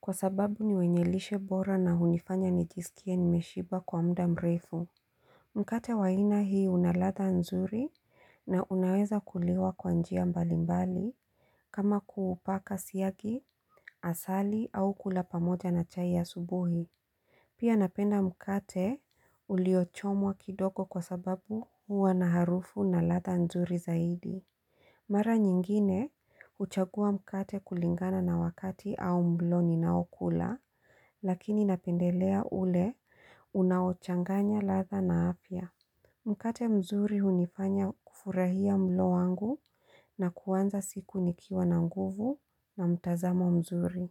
kwa sababu ni wenye lishe bora na hunifanya nijisikie nimeshiba kwa muda mrefu Mkate wa aina hii unaladha nzuri na unaweza kuliwa kwa njia mbalimbali kama kuupaka siagi asali au kula pamoja na chai ya asubuhi Pia napenda mkate uliochomwa kidogo kwasababu huwa na harufu na ladha nzuri zaidi Mara nyingine, huchangua mkate kuligana na wakati au mlo ninao kula, lakini napendelea ule, unaochanganya ladha na afya. Mkate mzuri hunifanya kufurahia mlo wangu na kuanza siku nikiwa na nguvu na mtazamo mzuri.